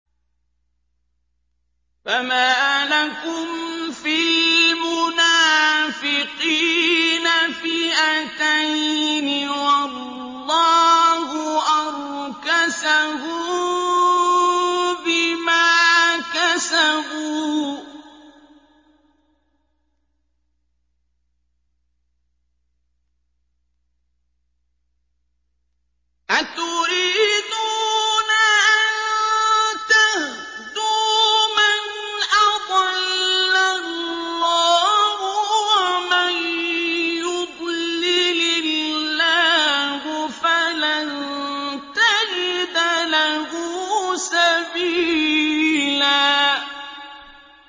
۞ فَمَا لَكُمْ فِي الْمُنَافِقِينَ فِئَتَيْنِ وَاللَّهُ أَرْكَسَهُم بِمَا كَسَبُوا ۚ أَتُرِيدُونَ أَن تَهْدُوا مَنْ أَضَلَّ اللَّهُ ۖ وَمَن يُضْلِلِ اللَّهُ فَلَن تَجِدَ لَهُ سَبِيلًا